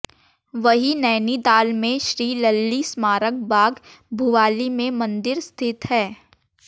वहीं नैनीताल में श्री लल्ली स्मारक बाग भुवाली में मंदिर स्थित है